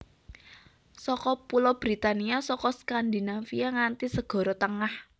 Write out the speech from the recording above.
Saka Pulo Britania saka Skandinavia nganti Segara Tengah